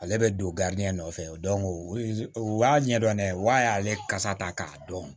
Ale bɛ don nɔfɛ u y'a ɲɛdɔn ne y'ale kasa ta k'a dɔn